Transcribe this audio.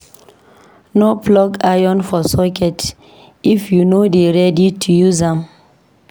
No plug iron for socket if you no dey ready to use am.